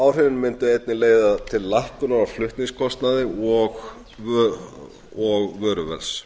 áhrifin mundu einnig leiða til lækkunar á flutningskostnaði og vöruverði